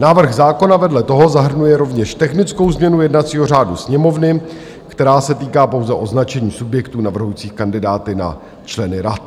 Návrh zákona vedle toho zahrnuje rovněž technickou změnu jednacího řádu Sněmovny, která se týká pouze označení subjektů navrhujících kandidáty na členy rad.